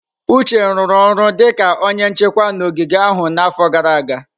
Uche rụrụ ọrụ dịka onye nchekwa n'ogige ahụ n'afọ gara aga.